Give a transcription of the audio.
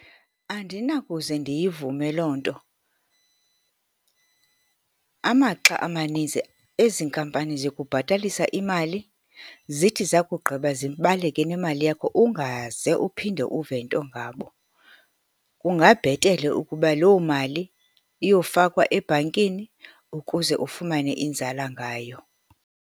Andinakuze ndiyivume loo nto. Amaxa amanintsi ezi nkampani zikubhatalisa imali, zithi zakugqiba zibaleke nemali yakho, ungaze uphinde uve nto ngabo. Kungabhetele ukuba loo mali iyofakwa ebhankini, ukuze ufumane inzala ngayo.